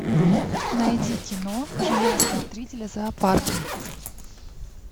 найди кино жена смотрителя зоопарка